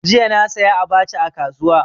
Jiya na saya abacha a kasuwa.